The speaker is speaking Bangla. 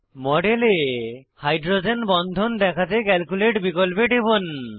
মডেলে হাইড্রোজেন বন্ধন দেখাতে ক্যালকুলেট বিকল্পে টিপুন